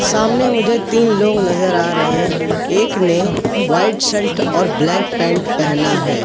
सामने मुझे तीन लोग नजर आ रहें एक ने व्हाइट शर्ट और ब्लॅक पॅन्ट पहेना हैं।